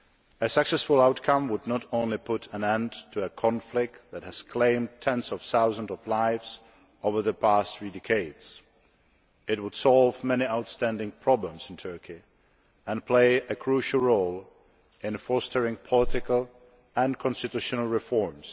A successful outcome would not only put an end to a conflict that has claimed tens of thousands of lives over the past three decades it would solve many outstanding problems in Turkey and play a crucial role in fostering political and constitutional reforms